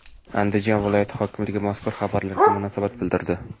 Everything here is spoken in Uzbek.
Andijon viloyat hokimligi mazkur xabarlarga munosabat bildirdi .